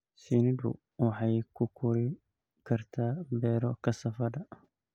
Shinnidu waxay ku kori kartaa beero kasaafada.